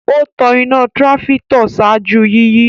O tan ìnà trafitor ṣáájú yiyi